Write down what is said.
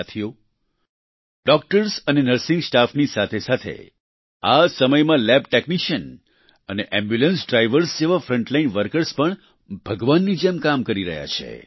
સાથીઓ ડોક્ટર્સ અને નર્સિંગ સ્ટાફની સાથેસાથે આ સમયમાં લેબ ટેક્નિશિયન અને એમ્બ્યુલન્સ ડ્રાઈવર્સ જેવા ફ્રન્ટલાઈન વર્કર્સ પણ ભગવાનની જેમ કામ કરી રહ્યા છે